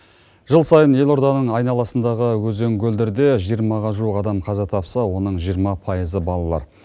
жыл сайын ел орданың айналасындағы өзен көлдерде жиырмаға жуық адам қаза тапса оның жиырма пайызы балалар